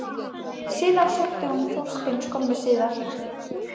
Síðan sótti hún Þorstein skömmu síðar.